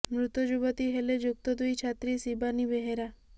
ମୃତ ଯୁବତୀ ହେଲେ ଯୁକ୍ତ ଦୁଇ ଛାତ୍ରୀ ଶିବାନୀ ବେହେରା